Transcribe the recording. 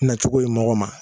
Na cogo ye mɔgɔ ma